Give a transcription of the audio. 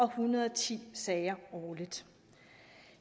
hundrede og ti sager årligt